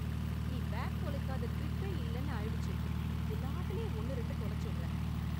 நீ பேக் தொலைக்காத டிரிப்பே இல்லன்னு ஆயிடுச்சு. எல்லாத்துலயும் ஒன்னு ரெண்டு தொலைச்சுடுறே.